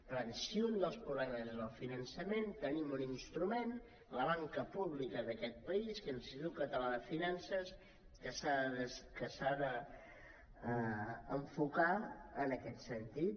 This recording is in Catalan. per tant si un dels problemes és el finançament tenim un instrument la banca pública d’aquest país que és l’institut català de finances que s’ha d’enfocar en aquest sentit